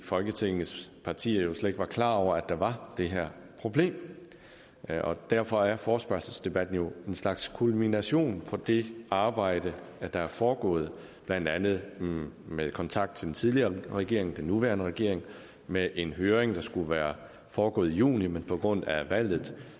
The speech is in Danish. folketingets partier jo slet ikke klar over at der var det her problem derfor derfor er forespørgselsdebatten jo en slags kulmination på det arbejde der er foregået blandt andet med kontakt til den tidligere regering og den nuværende regering med en høring der skulle være foregået i juni men som på grund af valget